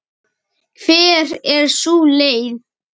Hver er sú leið?